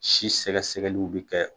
Si sɛgɛsɛgɛliw bi kɛ.